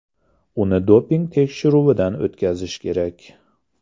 Uni doping tekshiruvidan o‘tkazish kerak.